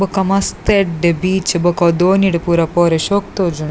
ಬೊಕ್ಕ ಮಸ್ತ್ ಎಡ್ಡೆ ಬೀಚ್ ಬೊಕ ದೋಣಿಡ್ ಪೂರ ಪೋರೆಗ್ ಶೋಕ್ ತೋಜುಂಡು.